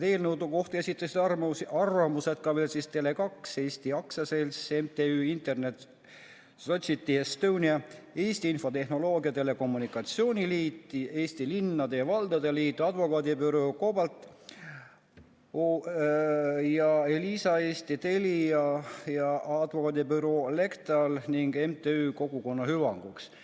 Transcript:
Eelnõu kohta esitasid arvamuse ka veel siis Tele2 Eesti AS, MTÜ Internet Society Estonia, Eesti Infotehnoloogia ja Telekommunikatsiooni Liit, Eesti Linnade ja Valdade Liit, Advokaadibüroo COBALT OÜ, Elisa Eesti, Telia ja advokaadibüroo LEXTAL OÜ ning MTÜ Kogukonna Hüvanguks.